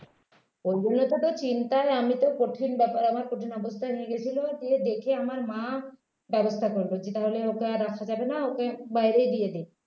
ওগুলো তো চিন্তাই আমি তো কঠিন ব্যাপার আমার কঠিন অবস্থায় নিয়ে গিয়েছিল যে দেখে আমার মা ব্যবস্থা করবে যে তাহলে ওকে আর রাখা যাবে না ওকে বাইরেই দিয়ে দে